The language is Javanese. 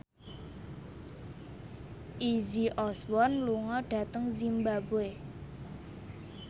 Izzy Osborne lunga dhateng zimbabwe